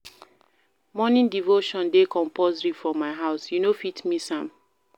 Morning devotion dey compusory for my house, you no fit miss am.